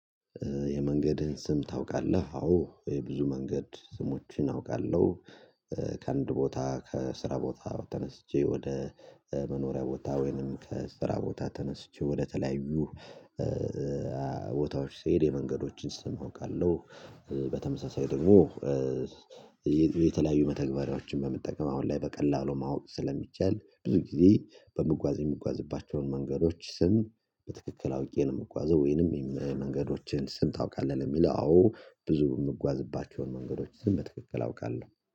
የመንገድህን ስም ታውቃለህ? አዎ ይሄ ብዙ መንገድ ስሞችን አውቃለሁ። ከአንድ ቦታ ከስራ ቦታ ተነስቼ ወደ መኖሪያ ቦታ ወይንም ከስራ ቦታ ተነስቼ ወደተለያዩ ቦታዎች ስሄድ የመንገዶችን ስም አውቃለሁ። በተመሳሳይ ደግሞ የተለያዩ መተግበሪያዎችን በመጠቀም አሁን ላይ በቀላሉ ማወቅ ስለሚቻል ብዙ ጊዜ በምጓዝ የምጓዝባቸውን መንገዶች ስም በትክክል አውቄ ነው የምጓዘው። ወይንም የሚል መንገዶችን ስም ታውቃለህ? የሚለው ብዙ የምጓዝባቸውን መንገዶች ስም በትክክል አውቃለሁ